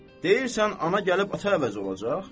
Deyirsən ana gəlib ata əvəzi olacaq?